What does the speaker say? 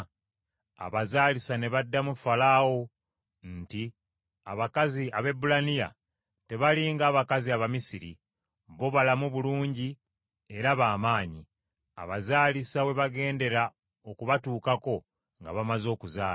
Abazaalisa, ne baddamu Falaawo nti, “Abakazi Abaebbulaniya tebali ng’abakazi Abamisiri; bo balamu bulungi era ba maanyi; abazaalisa we bagendera okubatuukako nga bamaze okuzaala.”